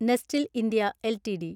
നെസ്റ്റിൽ India LTD